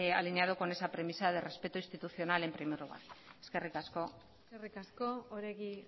alineado con esa premisa de respeto institucional en primer lugar eskerrik akso eskerrik asko oregi